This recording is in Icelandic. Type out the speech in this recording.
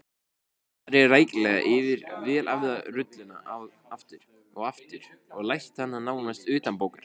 Farið rækilega yfir vel æfða rulluna aftur og aftur og lært hana nánast utanbókar.